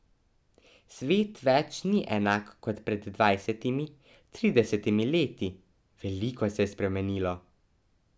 Svet več ni enak kot pred dvajsetimi, tridesetimi leti, veliko se je spremenilo.